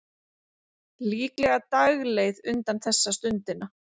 Líklega dagleið undan þessa stundina.